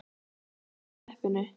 BLETTUR Í TEPPINU